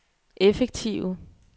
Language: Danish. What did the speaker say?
effektive